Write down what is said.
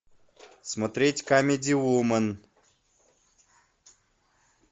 смотреть камеди вумен